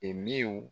E minw